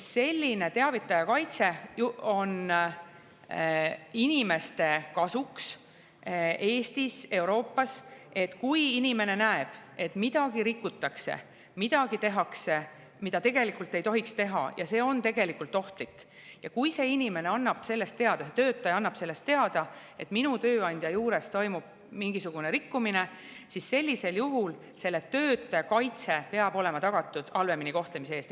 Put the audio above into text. Selline teavitaja kaitse ju on inimeste kasuks Eestis, Euroopas – sellisel juhul, kui inimene näeb, et midagi rikutakse, midagi tehakse, mida tegelikult ei tohiks teha, ja see on tegelikult ohtlik, ning kui töötaja annab sellest teada, et tema tööandja juures toimub mingisugune rikkumine, peab olema tagatud selle töötaja kaitse halvemini kohtlemise eest.